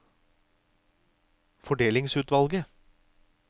fordelingsutvalget